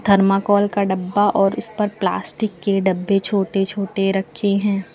Thermocol का डब्बा और उस पर प्लास्टिक के डब्बे छोटे छोटे रखे हैं।